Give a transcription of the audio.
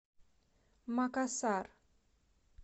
макасар